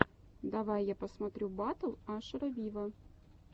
давай я посмотрю батл ашера виво